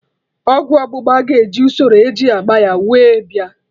Ọgwụ ọgbụgba ga-eji usoro eji agba ya wee bịa